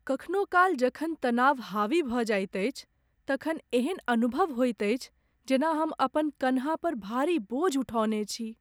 कखनो काल, जखन तनाव हावी भऽ जाइत अछि तखन एहन अनुभव होइत अछि जेना हम अपन कन्हा पर भारी बोझ उठौने छी।